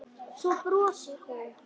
Svo brosir hún.